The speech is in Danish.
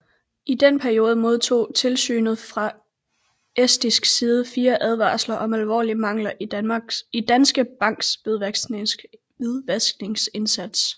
I den periode modtog tilsynet fra estisk side fire advarsler om alvorlige mangler i Danske Banks hvidvaskindsats